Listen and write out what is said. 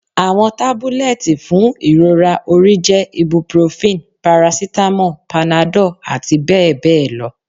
Awọn tabulẹti fun irora ori jẹ ibuprofen, paracetamol, Panadol ati bẹ́ẹ̀ bẹ́ẹ̀ lọ